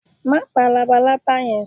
Ma pa lábàlábà yen!